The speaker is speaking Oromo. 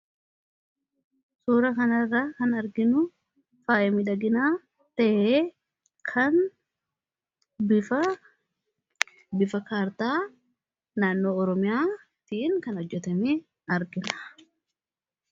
Suuraa kanarraa kan arginu faayaa miidhaginaa ta'ee kan bifa kaartaa naannoo oromiyaa kan hojjatame argina.